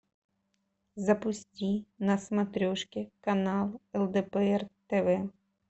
запусти на смотрешке канал лдпр тв